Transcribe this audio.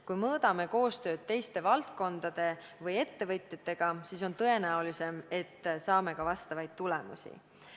Kui mõõdame koostööd teiste valdkondade või ettevõtjatega, siis on tõenäolisem, et saame ka vastavaid tulemusi.